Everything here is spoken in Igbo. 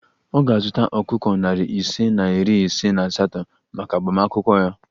Ọ ga-azụta ọkụkọ narị ise na iri ise na asatọ maka agbamakwụkwọ ya